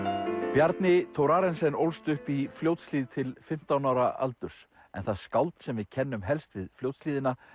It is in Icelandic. Bjarni Thorarensen ólst upp í Fljótshlíð til fimmtán ára aldurs en það skáld sem við kennum helst við Fljótshlíðina